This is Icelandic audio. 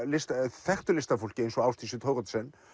þekktu listafólki eins og Ásdísi Thoroddsen